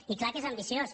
i és clar que és ambiciós